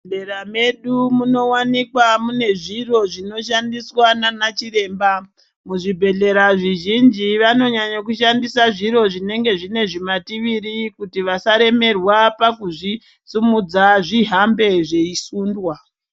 Muzvibhedhlera medu munowanikwa mune zviro zvinoshandiswa nana chiremba muzvibhedhlera zvizhinji vanonyanya kushandisa zviro zvinenge zvine zvimativiri kuti vasaremerwa pakuzvisimudza zvihambe zveisundwa.